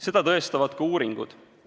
Seda tõestavad ka uuringud.